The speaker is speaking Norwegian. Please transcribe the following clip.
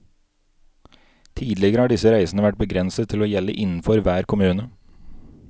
Tidligere har disse reisene vært begrenset til å gjelde innenfor hver kommune.